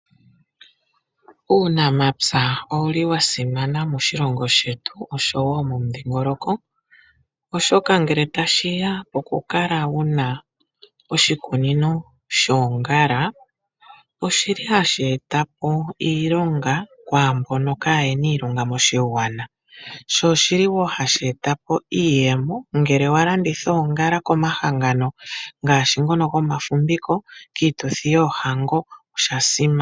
Uunamapya owuli wasimana moshilongo shetu oshowo momudhingoloko, oshoka ngele tashiya pokukala wuna oshikunino shoongala oshili hashi eta po iilonga kwaambono kaayena iilonga moshigwana. Sho oshili wo hashi eta po iiyemo ngele walanditha oongala komahangano ngaashi ngono gomafumviko kiituthi yoohango oshasimana.